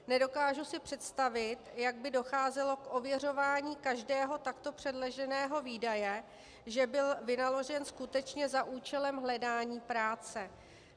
Nedokážu si představit, jak by docházelo k ověřování každého takto předloženého výdaje, že byl vynaložen skutečně za účelem hledání práce.